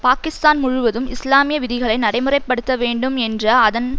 பாகிஸ்தான் முழுவதும் இஸ்லாமிய விதிகளை நடைமுறை படுத்த வேண்டும் என்ற அதன்